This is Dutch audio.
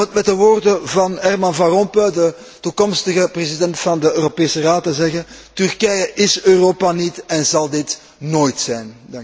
En om met de woorden van Herman van Rompuy, de toekomstige president van de Europese Raad, te spreken Turkije is Europa niet en zal dit nooit zijn!